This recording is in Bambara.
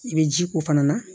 I bɛ ji k'o fana na